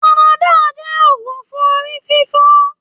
Panadol jẹ́ òògùn fún orí fífọ.